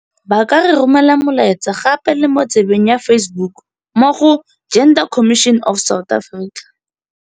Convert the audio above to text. Ba ka re romela molaetsa gape le mo tsebeng ya Facebook mo go - Gender Commission of South Africa.